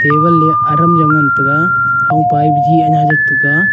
a adam jaw ngan tega thongpa e biji anya jat tega.